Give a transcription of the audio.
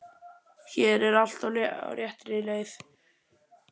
Hér er allt á réttri leið.